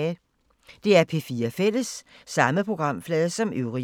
DR P4 Fælles